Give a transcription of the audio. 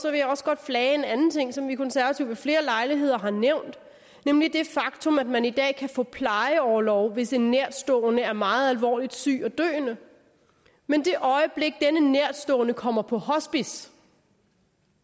jeg også godt flage en anden ting som vi konservative ved flere lejligheder har nævnt nemlig det faktum at man i dag kan få plejeorlov hvis en nærtstående er meget alvorligt syg og døende men det øjeblik denne nærtstående kommer på hospice